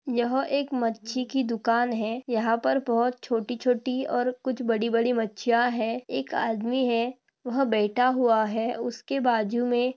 यह एक मच्छी की दुकान है यहाँ पर बहत छोटी-छोटी और कुछ बड़ी-बड़ी मच्छीया है एक आदमी है वह बैठा हुआ है उसके बाजू में--